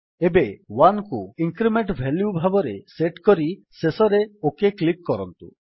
ଏବେ 1କୁ increment value ଭାବରେ ସେଟ୍ କରି ଶେଷରେ ଓକ୍ କ୍ଲିକ୍ କରନ୍ତୁ